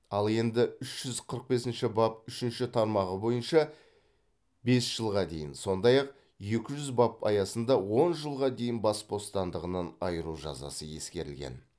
ал енді үш жүз қырық бесінші бап үшінші тармағы бойынша бес жылға дейін сондай ақ екі жүз бап аясында он жылға дейін бас бостандығынан айыру жазасы ескерілген